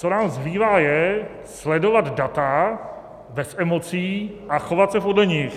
Co nám zbývá, je sledovat data, bez emocí, a chovat se podle nich.